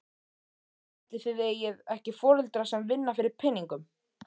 Ætli þið eigið ekki foreldra sem vinna fyrir peningum?